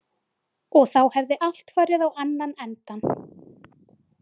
Og þá hefði allt farið á annan endann.